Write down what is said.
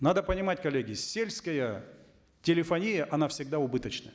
надо понимать коллеги сельская телефония она всегда убыточна